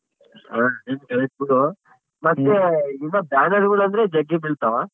. ಮತ್ತೆ ಇವಾಗ್ banner ಗಳು ಅಂದ್ರ ಜಗ್ಗಿ ಬೀಳ್ತವ.